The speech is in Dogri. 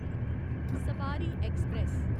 सबारी ऐक्सप्रैस